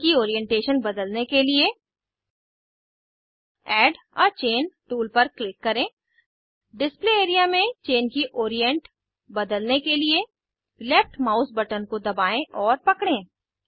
chain की orientation बदलने के लिए एड आ चैन टूल पर क्लिक करें डिस्प्ले एआरईए में चेन की ओरीएन्ट बदलने के लिए लेफ्ट माउस बटन को दबाएं और पकड़ें